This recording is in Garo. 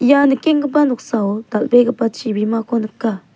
ia nikenggipa noksao dal·begipa chibimako nika.